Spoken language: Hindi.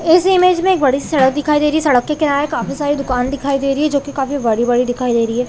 इस इमेज में बड़ी सी सड़क दिखाई दे रही है सड़क के किनारे काफी सारी दुकान दिखाई दे रही है जो की काफी बड़ी-बड़ी दिखाई दे रही है।